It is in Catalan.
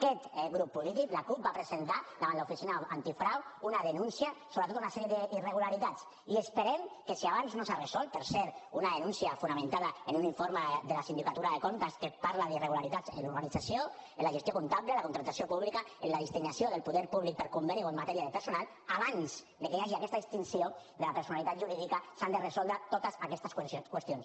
aquest grup polític la cup va presentar davant l’oficina antifrau una denúncia per tota una sèrie d’irregularitats i esperem que si abans no s’ha resolt per cert una denúncia fonamentada en un informe de la sindicatura de comptes que parla d’irregularitats en l’organització en la gestió comptable en la contractació pública en la destinació del poder públic per conveni o en matèria de personal abans que hi hagi aquesta distinció de la personalitat jurídica s’han de resoldre totes aquestes qüestions